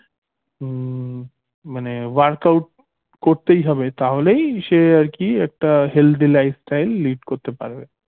মানে workout করতেই হবে তাহলেই সে আরকি একটা healthy lifestyle lead করতে পারবে